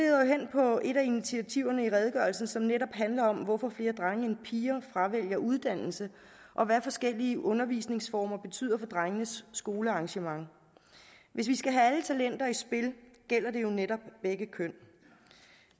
på et af initiativerne i redegørelsen som netop handler om hvorfor flere drenge end piger fravælger uddannelse og hvad forskellige undervisningsformer betyder for drengenes skoleengagement hvis vi skal have alle talenter i spil gælder det jo netop begge køn